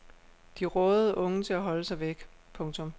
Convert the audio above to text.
De rådede unge til at holde sig væk. punktum